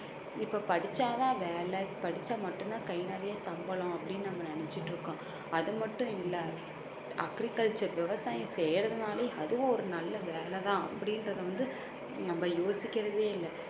இப்ப படிச்சா தான் வேலை படிச்சா மட்டும்தான் கை நிறைய சம்பளம் அப்படின்னு நம்ம நினைச்சுகிட்டு இருக்கோம் அது மட்டும் இல்ல. agriculture விவசாயம் செய்யறதுனாலயும் அதுவும் ஒரு நல்ல வேலை தான் அப்படின்றத வந்து நம்ம யோசிக்கிறதே இல்ல